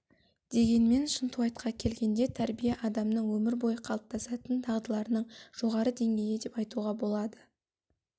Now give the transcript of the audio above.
дегенмен шынтуайтқа келгенде тәрбие адамның өмір бойы қалыптасатын дағдыларының жоғары деңгейі деп айтуға болады